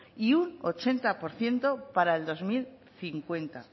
y un ochenta por ciento para el dos mil cincuenta